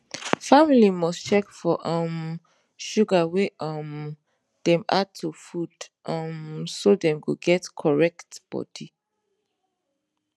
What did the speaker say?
family must check for um sugar wey um dem add to food um so dem go get correct body